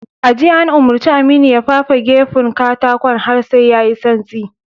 A jiya, an umurci Aminu ya fafe gefun katakon har sai ya yi santsi.